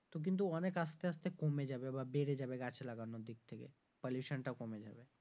তো কিন্তু অনেক আস্তে আস্তে কমে যাবে বা বেড়ে যাবে গাছ লাগানো দিক থেকে pollution টাও কমে যাবে।